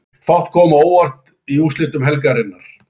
Fátt kom á óvart í úrslitum helgarinnar.